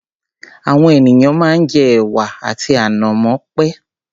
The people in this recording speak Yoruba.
Àwọn ènìyàn máa ń jẹ ẹ̀wà àti ànàmọ́ pẹ̀.